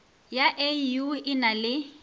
ya au e na le